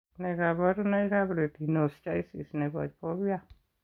Nee kabarunoikab Retinoschisis nebo Fovea?